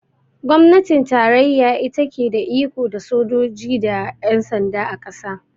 Gwamnatin tarayya ita ke da iko da sojoji da yan sanda, a ƙasa